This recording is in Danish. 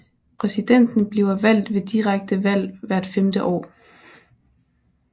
Præsidenten bliver valgt ved direkte valg hvert femte år